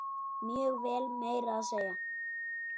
Mjög vel, meira að segja.